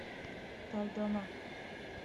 талдома